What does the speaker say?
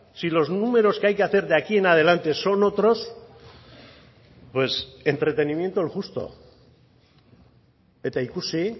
si los números que hay que hacer de aquí en adelante son otros pues entretenimiento el justo eta ikusi